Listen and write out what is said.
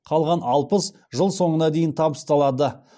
қалған алпыс жыл соңына дейін табысталады